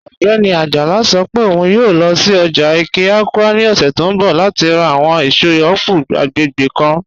Ogbẹni Ajala sọ́ pẹ̀ ọ̀un yòò lọ́ sí ọ́jà Ẹ̀ké-Awka ni ọ̀ṣẹ̀ tó nbọ̀ láti rá àwọn èṣọ̀ apple agbẹ́gbẹ́ kan.